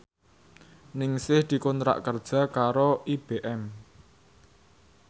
Ningsih dikontrak kerja karo IBM